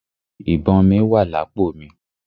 Ìbọn mí wà lápò mi.